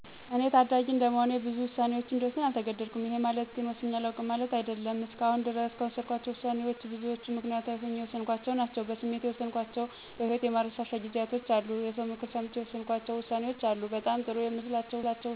እኔ ታዳጊ እንደመሆኔ ብዙ ውሳኔወችን እንድወስን አልተገደድኩም። ይሄ ማለት ግን ወስኘ አላውቅም ማለት አይደለም። እስከአሁን ድረስ ከወሰንኳቸው ውሳኔወች ውስጥ ብዙወቹን ምክንያታዊ ሆኘ ነው የወሰንኳቸው። በስሜት የወሰንኳቸው በህወቴ የማረሳቸው ጊዜያቶች አሉ። የሰው ምክርም ሰምቼ የወሰንኳቸው ውሳኔወች አሉ። በጣም ጥሩ የምላቸው ውሳኔወች የወሰንኩት ግን ምክንያታዊ ሆኜ የወሰንኳቸው ናቸው።